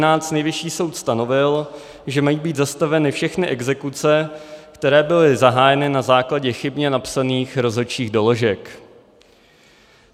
Nejvyšší soud stanovil, že mají být zastaveny všechny exekuce, které byly zahájeny na základě chybně napsaných rozhodčích doložek.